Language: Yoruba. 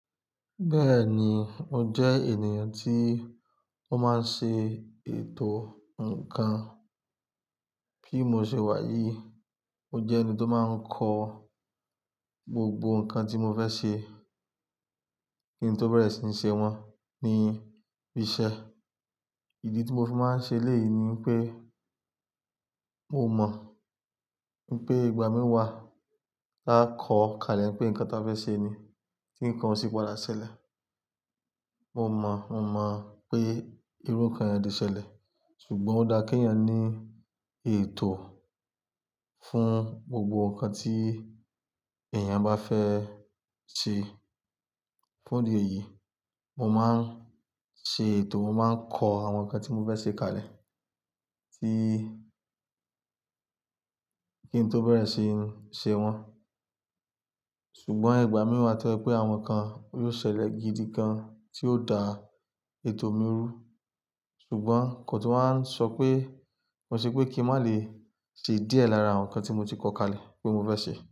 Bẹ́ẹ̀ni, mo jẹ́ ènìyàn tí ó máa ń ṣe ètò ǹkan. Kí mo ṣe wáyi, mo jẹ́ ẹni tó máa ń kọ gbogbo ǹkan tí mo fẹ́ ṣe kí n tó bẹ̀rẹ̀ sí ní ṣe wọ́n ní bí i ṣe. Ìdí tí mo fi máa ń ṣe lẹ́ẹ̀ yìí ni wipé mo mọ̀ wípé ìgbà mìíràn máa kọ̀ kalẹ̀ pé ǹkan tí a fẹ́ ṣe ni tí ǹkan osì padà ṣẹlẹ̀. Mo mọ̀, mo mọ̀ pé irú ǹkan yẹn ò de ṣẹlẹ̀, ṣùgbọ́n ó dá kí ẹ̀yàn ní ètò fún gbogbo ǹkan tí èèyàn bá fẹ́ ṣe. Fún ìdí èyí, mo máa ń ṣe ètò, mo máa ń kọ àwọn ǹkan tí mo fẹ́ ṣe kalẹ̀ kí kí n tó bẹ̀rẹ̀ sí ní ṣe wọ́n. Ṣùgbọ́n ìgbà mìíràn tọ́ ẹ pé àwọn ǹkan yóò ṣẹlẹ̀ gidi kan tí ó dá ètò mi rú. Ṣùgbọ́n kò tún máa ń sọ pé, mo sọ pé kí n má lè ṣe díẹ̀ lára àwọn ǹkan tí mo ti kọ kalẹ̀ pé mo fẹ́ ṣe.